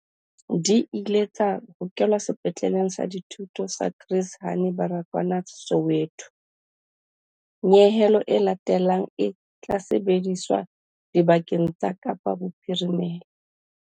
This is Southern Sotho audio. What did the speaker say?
Di ile tsa hokelwa Sepetleleng sa Dithuto sa Chris Hani Baragwanath Soweto. Nyehelo e latelang e tla sebediswa dibakeng tsa Kapa Bophirimela.